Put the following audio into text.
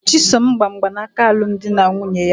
Chisom gba mgbanaka alum di na nwunye ya